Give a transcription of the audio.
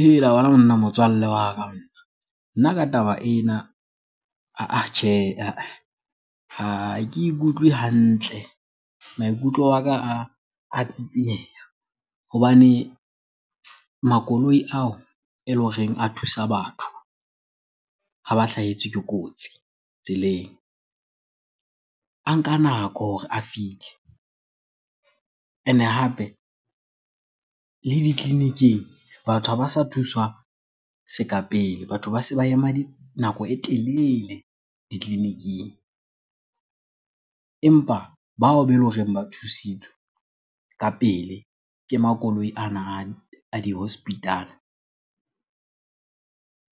Hela wena monna motswalle wa ka . Nna ka taba ena ahh ahh tjhe ha ke ikutlwe hantle, maikutlo a ka a tsitsieha. Hobane makoloi ao ele horeng a thusa batho ha ba hlahetswe ke kotsi tseleng, a nka nako hore a fihle. Ene hape le ditleliniking batho ha ba sa thuswa seka pele, batho ba se ba ema nako e telele ditleliniking. Empa bao bele horeng ba thusitswe ka pele ke makoloi ana a di-hospital-a